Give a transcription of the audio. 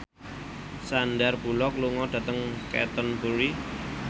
Sandar Bullock lunga dhateng Canterbury